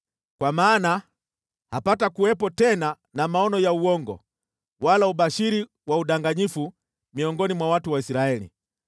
Kwa maana hapatakuwepo tena na maono ya uongo wala ubashiri wa udanganyifu miongoni mwa watu wa Israeli.